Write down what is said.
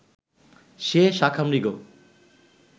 সে শাখামৃগ